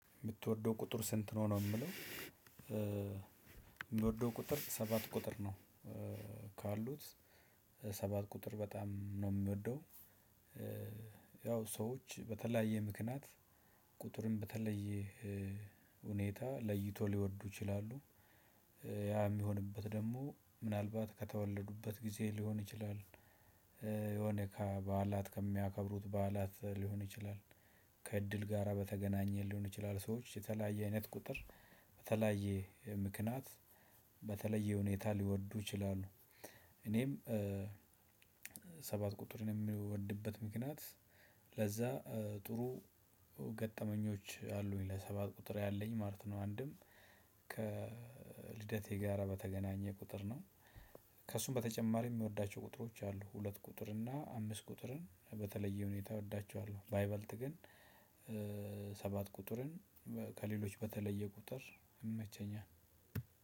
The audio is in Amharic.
የምትወደው ቁጥር ስንት ነው ነው ሚለው? ምወደው ቁጥር ሰባት ቁጥር ነው ካሉት ሰባት ቁጥር በጣም ነው ምወደው። ያው ሰዎች በተለያየ ምክንያት ቁጥርም በተለየ ሁኔታ ለይቶ ሊወዱ ይችላሉ። ያ የሚሆንበት ደግሞ ምናልባት ከተወለዱበት ጊዜ ሊሆን ይችላል። የሆነ ከበዓላት ከሚያከብሩት በዓላት ሊሆን ይችላል። ከእድል ጋራ በተገናኘ ሊሆን ይችላል ሰዎች የተለያየ አይነት ቁጥር በተለያየ ምክንያት በተለያየ ሁኔታ ሊወዱ ይችላሉ። እኔም ሰባት ቁጥርን የምወድበት ምክንያት ለዛ ጥሩ ገጠመኞች አሉኝ ለሰባት ቁጥር ያለኝ ማለት ነው። አንድም ከልደቴ ጋራ በተገናኘ ቁጥር ነው። ከእሱም በተጨማሪ የምወዳቸው ቁጥሮች አሉ ሁለት ቁጥር እና አምስት ቁጥርን በተለየ ሁኔታ እወዳቸዋለሁ። ባይበልጥ ግን ሰባት ቁጥርን ከሌሎች በተለየ ቁጥር ይመቸኛል።